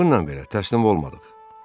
Bununla belə təslim olmadıq.